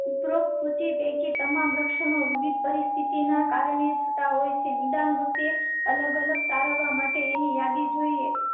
ઉપરોક્ત સૂચિ બેકી તમામ લક્ષણો વિવિધ પરિસ્થિતિ ના કારણે થતા હોય છે. નિદાન વખતે અલગ અલગ તારવા માટે ની યાદી જોઈએ.